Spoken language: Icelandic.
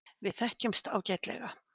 Við þekkjumst ágætlega.